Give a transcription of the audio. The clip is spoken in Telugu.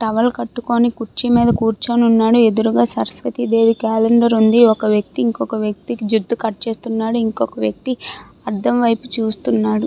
టవల్ కట్టుకొని కుర్చీ మీద కూర్చొని వున్నాడు. ఎదురుగా సరస్వతి దేవి క్యాలెండర్ ఉంది. ఒక వ్యక్తి ఇంకొక వ్యక్తికి జుట్టు కట్ చేస్తున్నాడు. ఇంకొక వ్యక్తి అర్థం వైపు చూస్తున్నాడు.